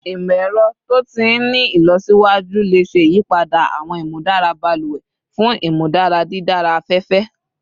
Imọ-ẹrọ to ti ni ilọsiwaju le ṣe iyipada awọn imudara baluwe fun imudara didara afẹfẹ